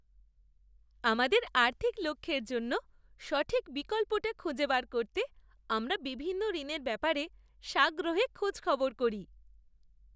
আমাদের আর্থিক লক্ষ্যের জন্য সঠিক বিকল্পটা খুঁজে বার করতে আমরা বিভিন্ন ঋণের ব্যাপারে সাগ্রহে খোঁজখবর করি।